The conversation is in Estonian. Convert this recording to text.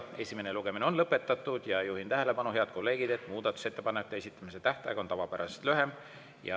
Esimene lugemine on lõpetatud ja juhin tähelepanu, head kolleegid, et muudatusettepanekute esitamise tähtaeg on tavapärasest lühem.